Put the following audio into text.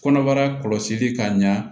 Kɔnɔbara kɔlɔsili ka ɲa